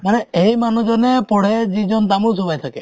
মানে সেই মানুহজনে পঢ়ে যিজন তামোল চুবাই থাকে